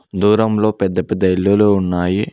దూరంలో పెద్ద పెద్ద ఇల్లులు ఉన్నాయి.